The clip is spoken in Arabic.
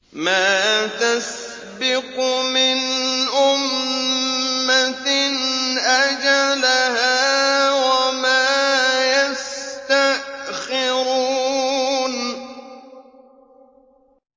مَا تَسْبِقُ مِنْ أُمَّةٍ أَجَلَهَا وَمَا يَسْتَأْخِرُونَ